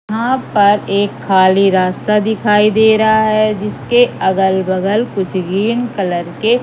यहां पर एक खाली रास्ता दिखाई दे रहा है जिसके अगल बगल कुछ गीन कलर के--